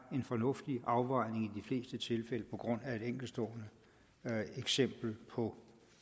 en fornuftig afvejning på grund af et enkeltstående eksempel på